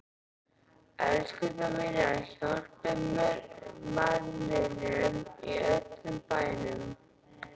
ELSKURNAR MÍNAR, HJÁLPIÐ MANNINUM Í ÖLLUM BÆNUM!